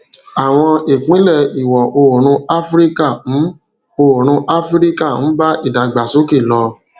àwọn ìpínlẹ ìwò oòrùn áfíríkà ń oòrùn áfíríkà ń bá ìdàgbàsókè lọ